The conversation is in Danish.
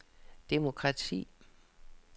demokrati